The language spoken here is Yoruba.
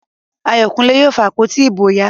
Ayokunle yóò fa àpótí ìbò ya